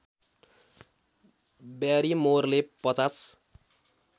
ब्यारिमोरले ५०